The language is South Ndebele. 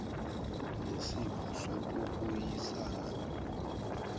nesipho sokubuyisana mut